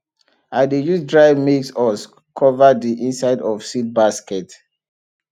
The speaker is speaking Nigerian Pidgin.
i dey use dry maize husk cover the inside of seed basket